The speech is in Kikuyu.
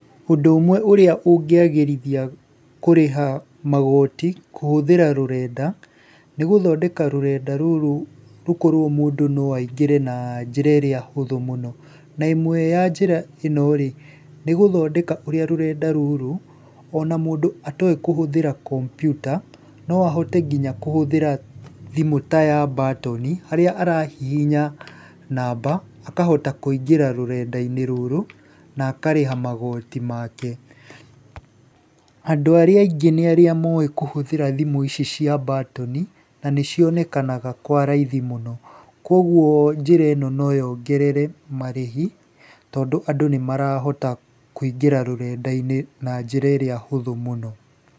Ũndũ ũmwe ũrĩa ũngĩagĩrithia kũrĩha magoti kũhũthĩra rũrenda, nĩ gũthondeka rũrenda rũrũ rũkorwo mũndũ no aingĩre na njĩra ĩrĩa hũthũ mũno. Na ĩmwe ya njĩra ĩno nĩ gũthondeka ũrĩa rũrenda rũrũ ona mũndũ atoĩ kũhũthĩra kompyuta, no ahote nginya kũhũthĩra thimũ ta ya mbatoni, harĩa arahihinya namba akahota kũingĩra rũrenda-inĩ rũrũ na akarĩha magoti make. Andũ arĩa aingĩ nĩ arĩa moĩ kũhũthĩra thimũ ici cia mbatoni na nĩ cionekaga kwa raithi mũno, kuũguo njĩra ĩno no yongerere marĩhi tondũ andũ nĩ marahota kũingĩra rũrenda-inĩ na njĩra ĩrĩa hũthũ mũno.